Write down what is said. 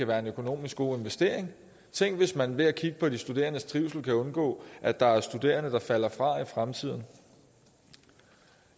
være en økonomisk god investering tænk hvis man ved at kigge på de studerendes trivsel kan undgå at der er studerende der falder fra i fremtiden